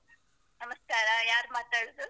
ನಮಸ್ಕಾರ ಯಾರು ಮಾತಾಡುದು?